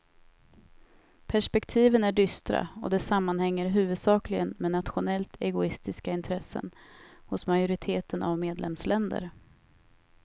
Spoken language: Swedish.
Perspektiven är dystra och det sammanhänger huvudsakligen med nationellt egoistiska intressen hos majoriteten av medlemsländer.